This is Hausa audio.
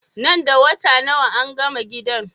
Nan da wata daya angama gidan?